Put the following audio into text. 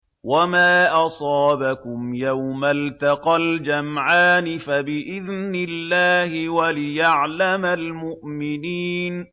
وَمَا أَصَابَكُمْ يَوْمَ الْتَقَى الْجَمْعَانِ فَبِإِذْنِ اللَّهِ وَلِيَعْلَمَ الْمُؤْمِنِينَ